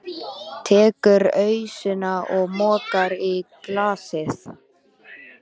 Tekur ausuna og mokar í glasið.